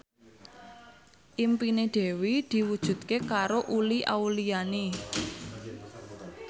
impine Dewi diwujudke karo Uli Auliani